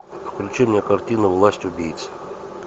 включи мне картину власть убийц